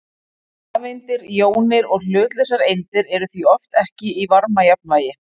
Rafeindir, jónir og hlutlausar eindir eru því oft ekki í varmajafnvægi.